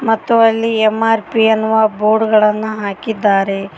ಮತ್ತು ಅಲ್ಲಿ ಎಂ_ಆರ್_ಪಿ ಎನ್ನುವ ಬೋರ್ಡ್ಗಳನ್ನು ಹಾಕಿದ್ದಾರೆ.